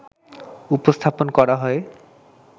উপস্থাপন করা হয়